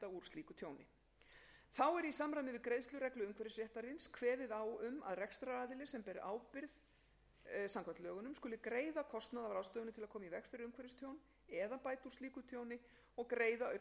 slíku tjóni þá er í samræmi við greiðslureglu umhverfisréttarins kveðið á um að rekstraraðili sem ber ábyrgð samkvæmt lögunum skuli greiða kostnað af ráðstöfunum til að koma í veg fyrir umhverfistjón eða bæta úr slíku tjóni og greiða auk þess gjald vegna málsmeðferðar